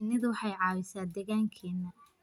Shinnidu waxay caawisaa deegaankeena.